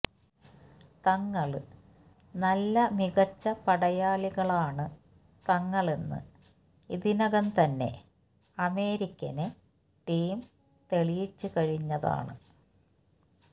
തങ്ങള് നല്ലമികച്ച പടയാളികളാണ് തങ്ങളെന്ന് ഇതിനകം തന്നെ അമേരിക്കന് ടീം തെളിയിച്ച് കഴിഞ്ഞതാണ്